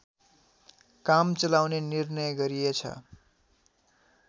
काम चलाउने निर्णय गरिएछ